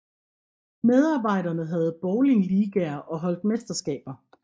Medarbejderne havde bowlingligaer og holdt mesterskaber